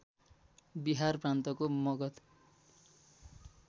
बिहार प्रान्तको मगध